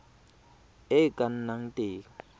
e e ka nnang teng